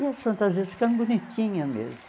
E as fantasias ficaram bonitinha mesmo.